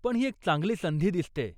पण ही एक चांगली संधी दिसतेय.